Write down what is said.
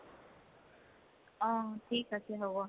অহ, ঠিক আছে হ'ব।